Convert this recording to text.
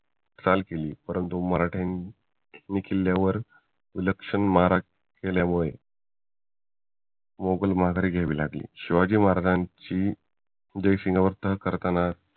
चाल केली परंतु मराठ्यांनी किल्ल्यावर विलक्षण मारा केल्यामुळे मुघल माघार घ्यायला लागले शिवाजी महाराजांची जयसिंग बरोबर तह करताना